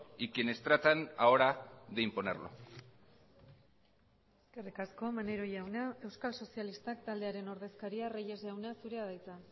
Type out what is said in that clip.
y quienes tratan ahora de imponerlo eskerrik asko maneiro jauna euskal sozialistak taldearen ordezkaria reyes jauna zurea da hitza